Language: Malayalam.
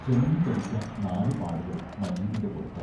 ചെമന്നു തടിച്ച നാലു പാടുകൾ മജീദിന്റെ പുറത്ത്.